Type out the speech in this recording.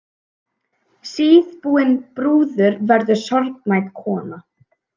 Síðbúin brúður verður sorgmædd kona.